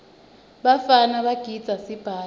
bafana bagidza sibhaca